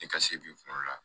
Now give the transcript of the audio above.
Ne ka se k'i kungolo la